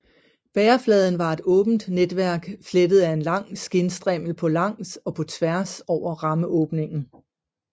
Bærefladen var et åbent netværk flettet af en lang skindstrimmel på langs og på tværs over rammeåbningen